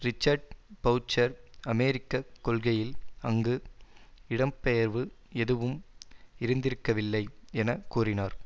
Richard Boucher அமெரிக்க கொள்கையில் அங்கு இடம் பெயர்வு எதுவும் இருந்திருக்கவில்லை என கூறினார்